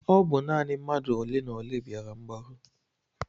Ọ bụ naanị mmadụ olenaole bịara mgbaru?